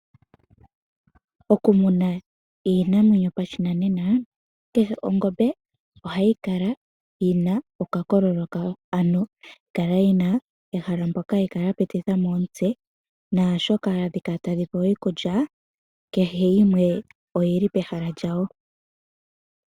Oku muna iinamwenyo pashinanena kehe ongombe ohayi kala yi na okakololo kawo, ano hayi kala yi na ehala mpoka ya pititha mo omutse, naashoka hadhi kala tadhi pewa iikulya kehe yimwe oyili pehala lyawo.